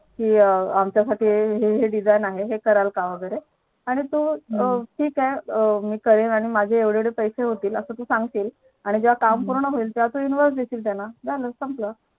कि आमच्या साठी हेही Design आहे हे कराल का वैगेरे ठीक आहे मी करेल माझे एवढे एवढे पैसे होतील असं तू सांगशील आणि जेव्हा काम पूर्ण होईल तेव्हा तू Invoice देशील त्यांना झालं संपलं